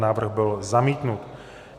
Návrh byl zamítnut.